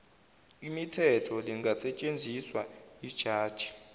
mithetho lingasetshenziswa yijaji